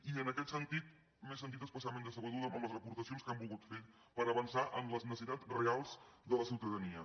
i en aquest sentit m’he sentit especialment decebuda amb les aportacions que han volgut fer per avançar en les necessitats reals de la ciutadania